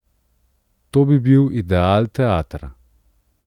To bi bil ideal teatra.